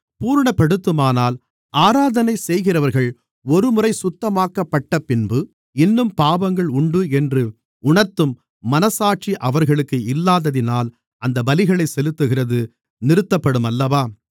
பூரணப்படுத்துமானால் ஆராதனை செய்கிறவர்கள் ஒருமுறை சுத்தமாக்கப்பட்டப்பின்பு இன்னும் பாவங்கள் உண்டு என்று உணர்த்தும் மனச்சாட்சி அவர்களுக்கு இல்லாததினால் அந்தப் பலிகளைச் செலுத்துகிறது நிறுத்தப்படும் அல்லவா